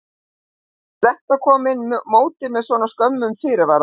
Er slæmt að koma inn í mótið með svona skömmum fyrirvara?